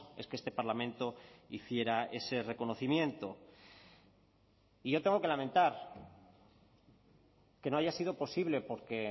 es que este parlamento hiciera ese reconocimiento y yo tengo que lamentar que no haya sido posible porque